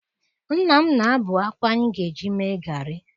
Nna m na-abụ akpụ anyị ga-eji mee garị.